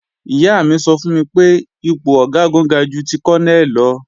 Ìyá mi sọ fún mi pé ipò Ọ̀gágun ga ju ti Kọ́nẹ̀ lọ